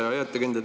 Hea ettekandja!